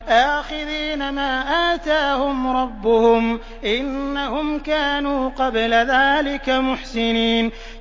آخِذِينَ مَا آتَاهُمْ رَبُّهُمْ ۚ إِنَّهُمْ كَانُوا قَبْلَ ذَٰلِكَ مُحْسِنِينَ